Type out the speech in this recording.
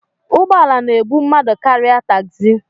Ụgbọ ala na-ebu mmadụ karịa tagzi.